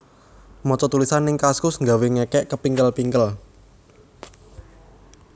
Moco tulisan ning Kaskus nggawe ngekek kepingkel pingkel